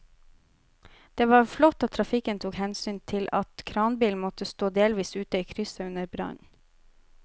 Det var flott at trafikken tok hensyn til at kranbilen måtte stå delvis ute i krysset under brannen.